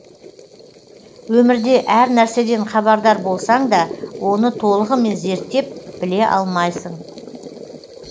өмірде әр нәрседен хабардар болсаң да оны толығымен зерттеп біле алмайсың